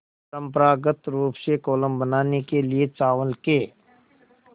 परम्परागत रूप से कोलम बनाने के लिए चावल के